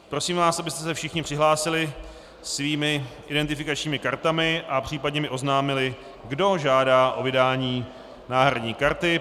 Prosím vás, abyste se všichni přihlásili svými identifikačními kartami a případně mi oznámili, kdo žádá o vydání náhradní karty.